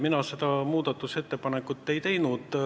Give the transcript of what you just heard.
Mina seda muudatusettepanekut ei teinud.